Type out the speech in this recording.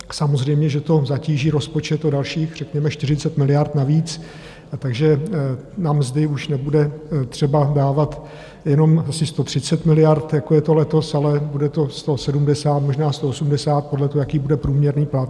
Samozřejmě že to zatíží rozpočet o dalších řekněme 40 miliard navíc, takže na mzdy už nebude třeba dávat jenom asi 130 miliard jako je to letos, ale bude to 170, možná 180 podle toho, jaký bude průměrný plat.